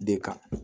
De kan